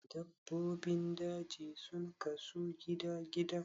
dabbobin daji sun kasu gida-gida